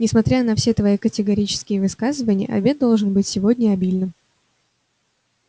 несмотря на все твои категорические высказывания обед должен быть сегодня обильным